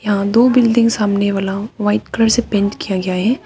यहां दो बिल्डिंग सामने वाला व्हाइट कलर से पेंट किया गया है।